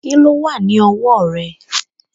Kíló wà ní ọwọ́ rẹ̀?